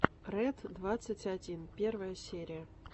ред двадцать один первая серия